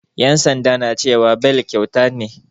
Yan sanda na cewa beli kyauta ne.